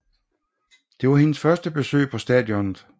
Det var hendes første besøg på stadionet